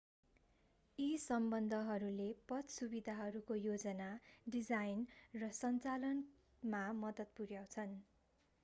यी सम्बन्धहरूले पथ सुविधाहरूको योजना डिजाइन र सञ्चालनमा मद्दत पुर्‍याउँछन्।